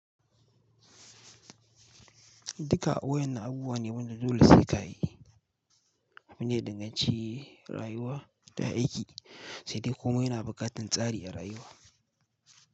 Duka waƴannan abubuwa ne wanda dole sai kayi. Wani ya danganci rayuwa da aiki saidai komai yana buƙatar tsari a rayuwa.